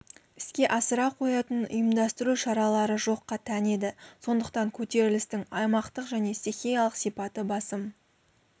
іске асыра қоятын ұйымдастыру шаралары жоққа тән еді сондықтан көтерілістің аймақтық және стихиялық сипаты басым